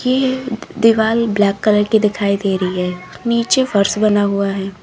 ये दिवाल black colour की दिखाई दे रही है नीचे फर्श बना हुआ है।